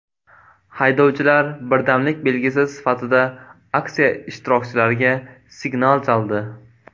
Haydovchilar birdamlik belgisi sifatida aksiya ishtirokchilariga signal chaldi.